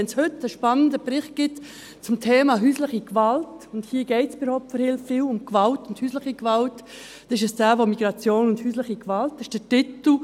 Wenn es heute einen spannenden Bericht zum Thema häusliche Gewalt gibt, und hier geht es bei der Opferhilfe oft um Gewalt und häusliche Gewalt, dann ist es derjenige zu «Häusliche Gewalt im Migrationskontext».